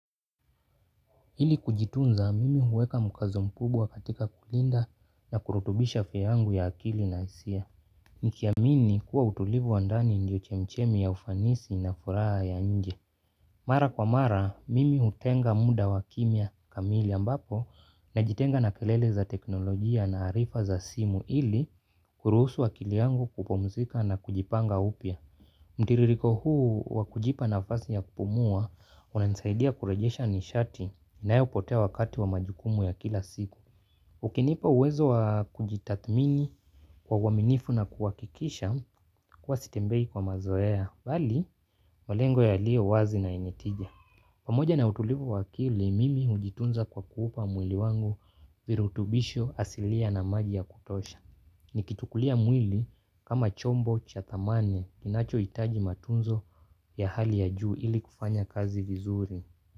Ili kujitunza mimi huweka mkazo mkubwa katika kulinda na kurutubisha afya yangu ya kiakili na hisia. Nikiamini kuwa utulivu wa ndani ndio chemichemi ya ufanisi na furaha ya nje. Mara kwa mara mimi hutenga muda wa kimya kamili ambapo najitenga na kelele za teknolojia na arifa za simu ili kuruhusu akili yangu kupumzika na kujipanga upya. Mtiririko huu wa kujipa nafasi ya kupumua unanisaidia kurejesha nishati inayopotea wakati wa majukumu ya kila siku. Ukinipa uwezo wa kujitathmini kwa uaminifu na kuhakikisha kuwa sitembei kwa mazoea. Mbali, malengo yaliyo wazi na yenye tija. Pamoja na utulivu wakili mimi hujitunza kwa kuupa mwili wangu virutubisho asilia na maji ya kutosha. Nikitukulia mwili kama chombo cha dhamani kinachoitaji matunzo ya hali ya juu ili kufanya kazi vizuri.